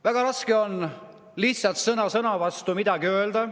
Väga raske on lihtsalt sõna sõna vastu midagi öelda.